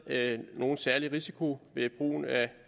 nogen særlig risiko ved brugen af